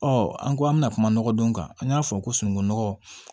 Ɔ an ko an bɛna kuma nɔgɔdon kan an y'a fɔ ko sunungunɔgɔ